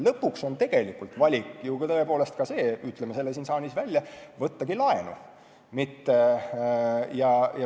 Lõpuks on tegelikult veel üks võimalus, ütleme selle siin saalis välja: võtta laenu.